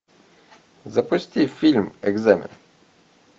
запусти фильм экзамен